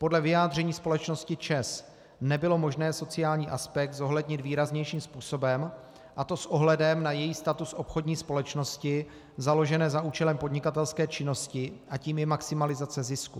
Podle vyjádření společnosti ČEZ nebylo možné sociální aspekt zohlednit výraznějším způsobem, a to s ohledem na její status obchodní společnosti založené za účelem podnikatelské činnosti a tím je maximalizace zisku.